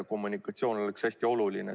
Kommunikatsioon on hästi oluline.